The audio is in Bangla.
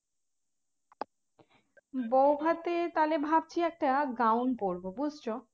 বৌভাতে তাহলে ভাবছি একটা gown পরবো বুঝেছ